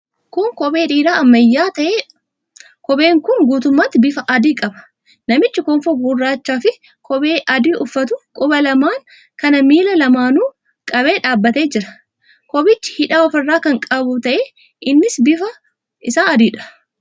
Kun kophee dhiiraa ammayyaa ta'eedha. Kophee'n kun guutummaatti bifa adii qaba. Namichi kofoo gurraachaafi qomee adii uffatu quba lamaan kan miila lamaanuu qabee dhaabbatee jira. Kophichi hidhaa ofirraa kan qabu ta'ee, innis bifti isaa adiidha.